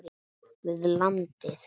við landið.